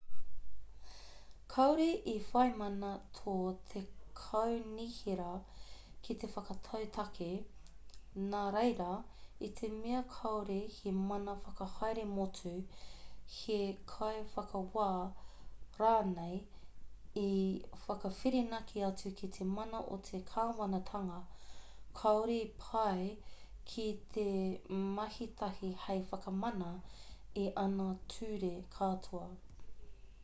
kāore i whai mana tō te kaunihera ki te whakatau tāke nāreira i te mea kāore he mana whakahaere motu he kaiwhakawā rānei i whakawhirinaki atu ki te mana o te kāwanatanga kāore i pai ki te mahitahi hei whakamana i ana ture katoa